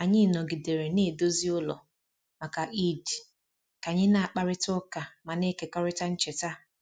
Anyị nọgidere na-edozi ụlọ maka Eid ka anyị na-akparịta ụka ma na-ekekọrịta ncheta